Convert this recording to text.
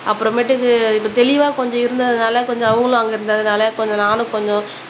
அப்புறமேட்டுக்கு இப்ப தெளிவா கொஞ்சம் இருந்ததுனால கொஞ்சம் அவங்களும் அங்க இருந்ததுனால கொஞ்சம் நானும் கொஞ்சம்